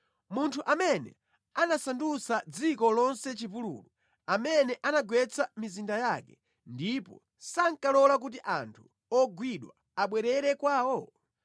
munthu amene anasandutsa dziko lonse chipululu, amene anagwetsa mizinda yake ndipo sankalola kuti anthu ogwidwa abwerere kwawo?”